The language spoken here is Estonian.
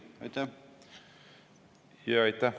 Jaa, aitäh!